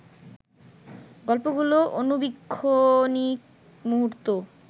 গল্পগুলোর আণুবীক্ষণিক মুহূর্ত